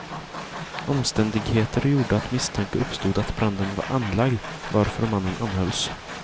Omständigheter gjorde att misstanke uppstod att branden var anlagd, varför mannen anhölls.